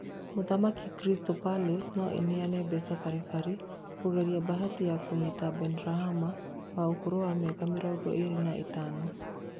Mũthaki Crystal Palace no ĩneane mbeca bari bari cia kũgeria mbahati ya kũnyita Benrahma wa ũkũrũ wa mĩaka mĩrongo ĩrĩ na ithano